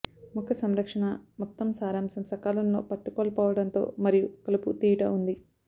మొక్క సంరక్షణ మొత్తం సారాంశం సకాలంలో పట్టుకోల్పోవడంతో మరియు కలుపు తీయుట ఉంది